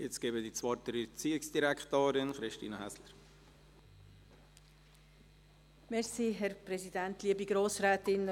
Ich gebe der Erziehungsdirektorin, Christine Häsler, das Wort.